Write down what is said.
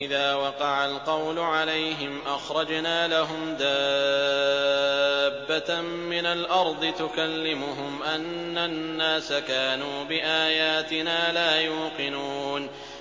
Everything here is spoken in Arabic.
۞ وَإِذَا وَقَعَ الْقَوْلُ عَلَيْهِمْ أَخْرَجْنَا لَهُمْ دَابَّةً مِّنَ الْأَرْضِ تُكَلِّمُهُمْ أَنَّ النَّاسَ كَانُوا بِآيَاتِنَا لَا يُوقِنُونَ